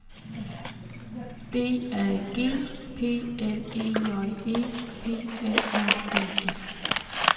D A G P L E J E P L A D S